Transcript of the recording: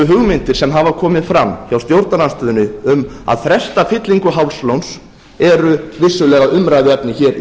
hugmyndir sem hafa komið fram hjá stjórnarandstöðunni um að fresta fyllingu hálslóns eru vissulega umræðuefni hér í